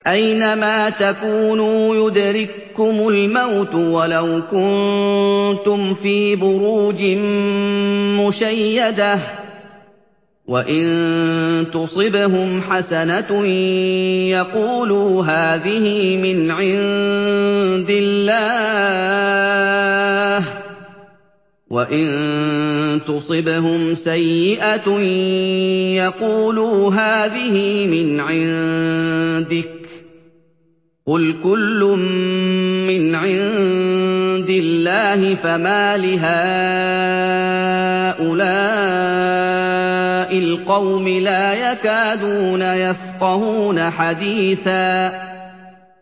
أَيْنَمَا تَكُونُوا يُدْرِككُّمُ الْمَوْتُ وَلَوْ كُنتُمْ فِي بُرُوجٍ مُّشَيَّدَةٍ ۗ وَإِن تُصِبْهُمْ حَسَنَةٌ يَقُولُوا هَٰذِهِ مِنْ عِندِ اللَّهِ ۖ وَإِن تُصِبْهُمْ سَيِّئَةٌ يَقُولُوا هَٰذِهِ مِنْ عِندِكَ ۚ قُلْ كُلٌّ مِّنْ عِندِ اللَّهِ ۖ فَمَالِ هَٰؤُلَاءِ الْقَوْمِ لَا يَكَادُونَ يَفْقَهُونَ حَدِيثًا